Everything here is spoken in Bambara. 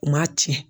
U m'a ci